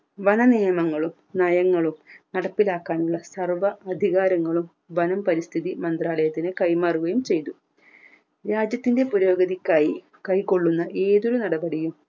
വന നിയമങ്ങളും നയങ്ങളും നടപ്പിലാക്കാനുള്ള സർവ്വ അധികാരങ്ങളും വനം പരിസ്ഥിതി മന്ത്രാലയത്തിന് കൈമാറുകയും ചെയ്തു രാജ്യത്തിൻറെ പുരോഗതിക്കായി കൈക്കൊള്ളുന്ന ഏതൊരു നടപടിയും